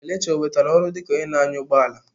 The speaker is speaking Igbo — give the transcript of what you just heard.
Kelechi onwetala ọrụ dịka onye na-anya ụgbọ ala?